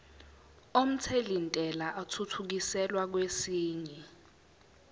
omthelintela athuthukiselwa kwesinye